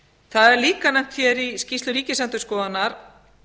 það er líka nefnt hér í skýrslu ríkisendurskoðunar